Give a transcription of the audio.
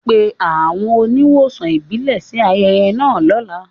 Pe àwọn oníwòsàn ìbílẹ̀ sí ayẹyẹ náà lọ́la